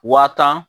Waa tan